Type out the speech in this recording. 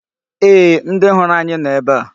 Ee, ndị hụrụ anyị nọ ebe a.